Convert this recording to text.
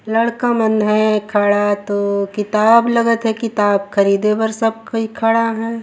लड़का मन ह खड़ा तो किताब लगत हे किताब ख़रीदे बर सब कोई खड़ा है।